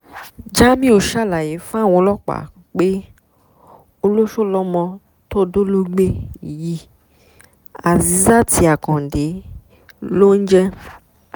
jamiu ṣàlàyé fáwọn ọlọ́pàá pé olóṣó lọmọ tó dólógbé yìí azeeet akande ló ń jẹ́